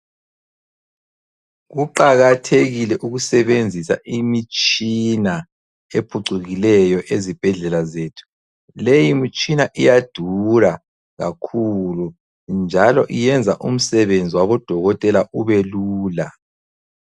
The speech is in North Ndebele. Kuqakathekike ukusebenzisa imitshina ephucukileyo ezibhedlela zethu, leyi mitshina iyadura kakhulu njalo iyenza umsebenzi wabo dokotela ubelula.